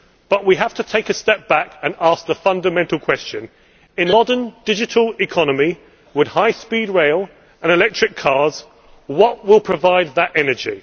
But we have to take a step back and ask the fundamental question in a modern, digital economy, with high speed rail and electric cars, what will provide that energy?